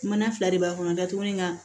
Mana fila de b'a kɔnɔ datugu in kan